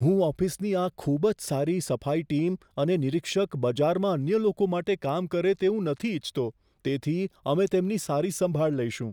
હું ઓફિસની આ ખૂબ જ સારી સફાઈ ટીમ અને નિરીક્ષક બજારમાં અન્ય લોકો માટે કામ કરે તેવું નથી ઇચ્છતો. તેથી, અમે તેમની સારી સંભાળ લઈશું.